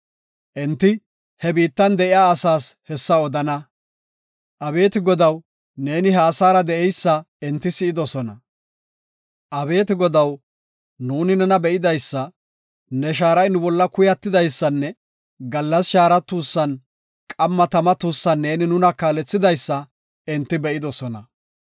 Enti he biittan de7iya asaas hessa odana. Abeeti Godaw, neeni ha asaara de7eysa enti si7idosona. Abeeti Godaw, nuuni nena be7idaysa, ne shaaray nu bolla kuyatidaysanne gallas shaara tuussan, qamma tama tuussan neeni nuna kaalethidaysa enti be7idosona.